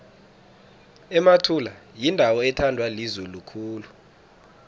emathula yindawo ethandwa lizulu khulu